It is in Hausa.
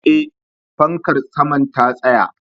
Eh, fankar saman ta tsaya